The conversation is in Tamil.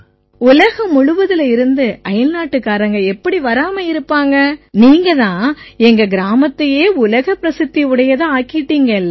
உலகம் முழுக்கலேர்ந்தும் அயல்நாட்டுக்காரங்க எப்படி வராம இருப்பாங்க நீங்க தான் எங்க கிராமத்தை உலகப் பிரசித்தி உடையதா ஆக்கிட்டீங்க இல்ல